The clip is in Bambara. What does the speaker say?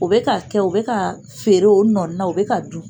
U bɛ ka kɛ, u bɛ ka feere o nɔ na , u bɛ ka dun.